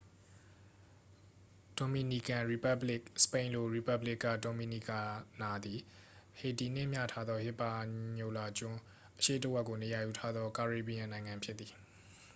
ဒိုမီနီကန် ရီပက်ဘလစ် စပိန်လို- república dominicana သည် ဟေတီနှင့် မျှထားသော ဟစ်ပါညိုလာကျွန်း အရှေ့တစ်ဝက်ကိုနေရာယူထားသော ကာရေဘီယန် နိုင်ငံဖြစ်သည်။